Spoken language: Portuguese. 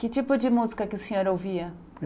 Que tipo de música que o senhor ouvia?